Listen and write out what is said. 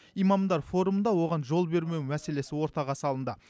имамдар форумында оған жол бермеу мәселесі ортаға салынды